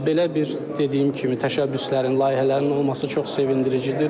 Belə bir dediyim kimi təşəbbüslərin, layihələrin olması çox sevindiricidir.